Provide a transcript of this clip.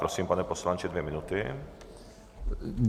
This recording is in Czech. Prosím, pane poslanče, dvě minuty.